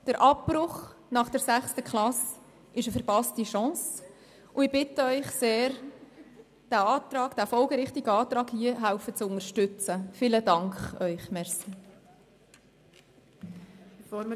Der Abbruch nach der sechsten Klasse ist eine verpasste Chance, und ich bitte Sie sehr, den folgerichtigen Antrag unterstützen zu helfen.